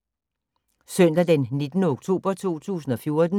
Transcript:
Søndag d. 19. oktober 2014